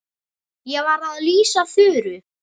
Ég var að lýsa Þuru.